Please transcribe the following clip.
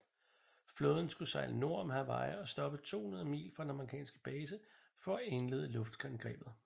Flåden skulle sejle nord om Hawaii og stoppe 200 mil fra den amerikanske base for at indlede luftangrebet